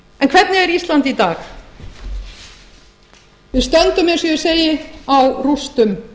er ísland í dag við stöndum eins og ég segi á rústum ný